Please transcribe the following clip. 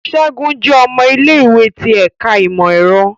Segun jẹ ọmọ ile-iwe ti Ẹka Imọ-ẹrọ